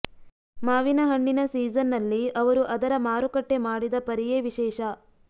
ಮಾವಿನ ಹಣ್ಣಿನ ಸೀಸನ್ನಲ್ಲಿ ಅವರು ಅದರ ಮಾರುಕಟ್ಟೆ ಮಾಡಿದ ಪರಿಯೇ ವಿಶೇಷ